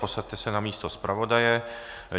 Posaďte se na místo zpravodaje.